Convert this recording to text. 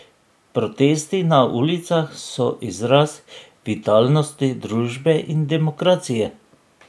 Protesti na ulicah so izraz vitalnosti družbe in demokracije.